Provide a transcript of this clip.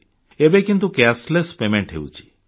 ଏବେ କିନ୍ତୁ cashless payment ହେଉଛି